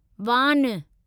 वान